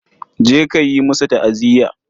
Je ka yi musu ta'aziya.